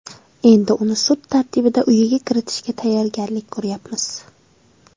Endi uni sud tartibida uyiga kiritishga tayyorgarlik ko‘ryapmiz.